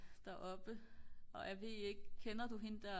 deroppe og jeg ved ikke kender du hende der